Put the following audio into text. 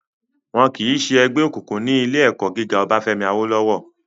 Wọ́n kìí sẹ́ ẹgbẹ́ òkùnkùn ní ilé ẹ̀kọ́ gíga Obáfẹ́mi Awólọ́wọ̀